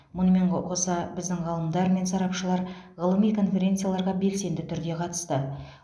мұнымен ғо қоса біздің ғалымдар мен сарапшылар ғылыми конференцияларға белсенді түрде қатысты